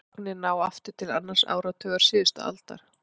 Gögnin ná aftur til annars áratugar síðustu aldar.